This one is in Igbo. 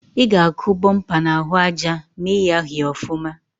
I ga-akụ bụmpa n’ahụ aja ma ịyaghị ọfụma